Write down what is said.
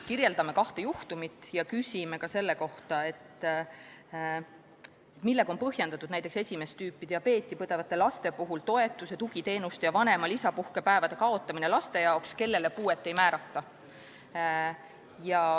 Kirjeldame kahte juhtumit ja küsime ka selle kohta, millega on põhjendatud näiteks esimest tüüpi diabeeti põdevate laste toetuse, tugiteenuste ja vanema lisapuhkepäevade kaotamine laste puhul, kellele puuet ei määrata.